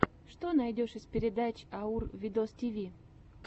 что найдешь из передач аур видостиви